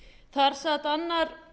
þar sat annar